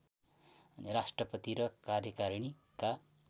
राष्ट्रपति र कार्यकारिणीका